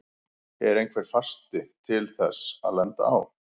Er einhver fasti til þess að lenda á?